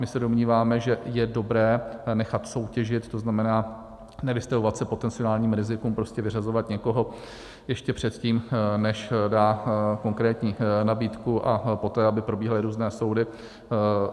My se domníváme, že je dobré nechat soutěžit, to znamená nevystavovat se potenciálním rizikům, prostě vyřazovat někoho ještě předtím, než dá konkrétní nabídku, a poté aby probíhaly různé soudy.